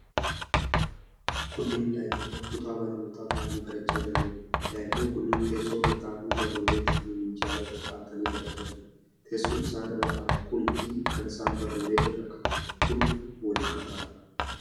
Kunneen daa'imman kutaa barnootaa taa'anii barachaa jiranidha. Daa'imman kunneen teessoo irra taa'anii barruulee isaaniii minjaala irra kaa'atanii barachaa jiru. Teessoon isaan irra taa'an kun fi kan isaan barruulee irra kaawwatan kun wal qabataadha.